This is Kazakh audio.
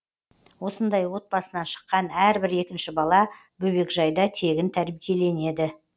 осындай отбасынан шыққан әрбір екінші бала бөбекжайда тегін тәрбиеленеді